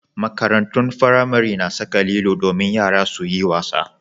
Makarantun firamare na saka lilo domin yara su yi wasa.